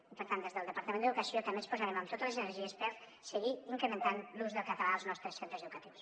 i per tant des del departament d’educació també ens posarem amb totes les energies per seguir incrementant l’ús del català als nostres centres educatius